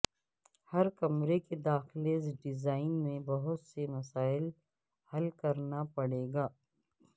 ہر کمرے کے داخلہ ڈیزائن میں بہت سے مسائل حل کرنا پڑے گا